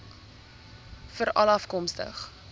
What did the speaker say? veralafkomstig